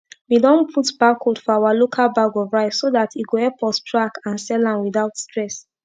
we don put barcode for our local bag of rice so dat e go epp us track and sell am without stress